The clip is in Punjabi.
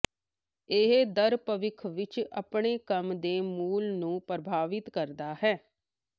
ਇਹ ਦਰ ਭਵਿੱਖ ਵਿੱਚ ਆਪਣੇ ਕੰਮ ਦੇ ਮੁੱਲ ਨੂੰ ਪ੍ਰਭਾਵਿਤ ਕਰਦਾ ਹੈ